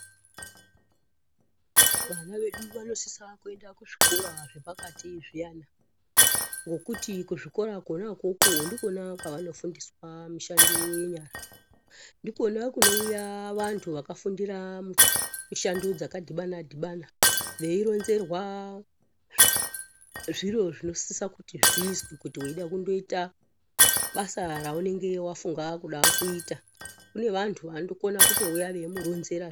Vana vedu vanosisa kuenda kuzvikora zvepakati zviyana, ngokuti kuzvikora kona ukoko ndikona kwaanofundiswa mishando yenyara. Ndikona kunouya vantu vakafundira mishando dzakadhibana-dhibana veironzerwa zviro zvinosisa kuti zviizwe kana weida kuite kuita basa reunenge wafunga kuda kuita Kune vantu vanokona kutouya veimuronzera.